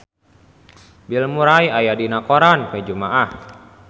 Bill Murray aya dina koran poe Jumaah